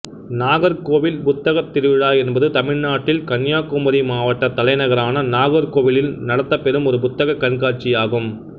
நாகர்கோவில் புத்தகத் திருவிழா என்பது தமிழ்நாட்டில் கன்னியாகுமரி மாவட்டத் தலைநகரான நாகர்கோவிலில் நடத்தப் பெறும் ஒரு புத்தகக் கண்காட்சியாகும்